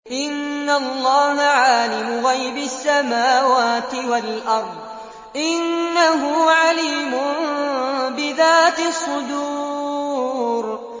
إِنَّ اللَّهَ عَالِمُ غَيْبِ السَّمَاوَاتِ وَالْأَرْضِ ۚ إِنَّهُ عَلِيمٌ بِذَاتِ الصُّدُورِ